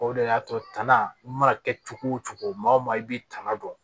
O de y'a to tan i mana kɛ cogo o cogo maa o maa i b'i tanga dɔn